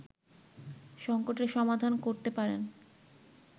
সংকটের সমাধান করতে পারেন